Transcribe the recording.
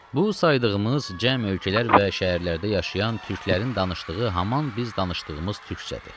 Bu saydığımız cəm ölkələr və şəhərlərdə yaşayan türklərin danışdığı haman biz danışdığımız türkçədir.